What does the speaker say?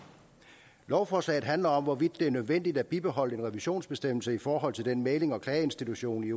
lovforslaget handler om hvorvidt det er nødvendigt at bibeholde en revisionsbestemmelse i forhold til den mæglings og klageinstitution i